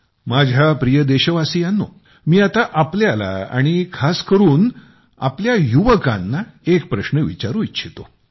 माझ्या प्रिय देशवासियांनो मी आता तुम्हाला आणि खास करून आपल्या युवकांना एक प्रश्न विचारू इच्छितो